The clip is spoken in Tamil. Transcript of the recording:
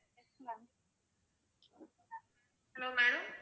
hello madam